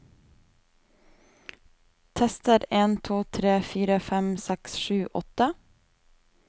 Tester en to tre fire fem seks sju åtte